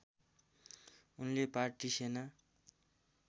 उनले पार्टी सेना